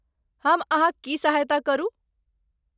हम अहाँक की सहायता करू?